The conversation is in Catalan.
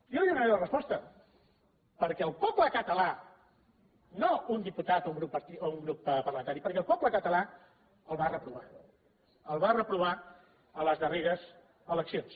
jo li donaré la resposta perquè el poble català no un diputat o un grup parlamentari el va reprovar el va reprovar a les darreres eleccions